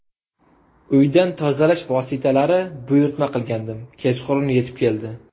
Uydan tozalash vositalari buyurtma qilgandim, kechqurun yetib keldi.